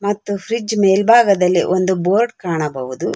ಮತ್ತು ಫ್ರಿಜ್ ಮೇಲ್ಭಾಗದಲ್ಲಿ ಒಂದು ಬೋರ್ಡ್ ಕಾಣಬಹುದು.